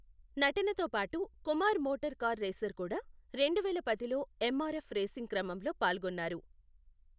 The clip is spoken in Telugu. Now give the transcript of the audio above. నటనతో పాటు, కుమార్ మోటార్ కార్ రేసర్ కూడా, రెండువేల పదిలో ఎమ్ ఆర్ ఎఫ్ రేసింగ్ క్రమంలో పాల్గొన్నారు.